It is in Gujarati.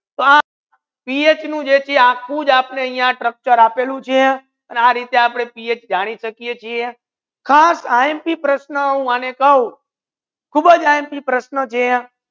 પા પીએચ નુ જે છે આખુ આપને જવાબ આપલુ છે આને રીતે આપડે પીએચ જાની સાકે છે ખાસ ઇમ્પ હુ કાઉ ખૂબ જ ઇમ્પ પ્રશ્ના છે